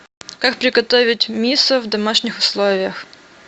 как приготовить мисо в домашних условиях